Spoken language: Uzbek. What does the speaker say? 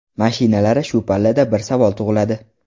Mashinalari Shu pallada bir savol tug‘iladi.